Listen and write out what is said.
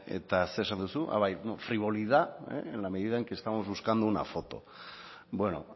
eta zer esan duzu bai frivolidad en la medida en que estamos buscando una foto bueno